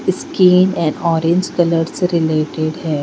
उसके अकॉर्डिंग से रिलेटेड है.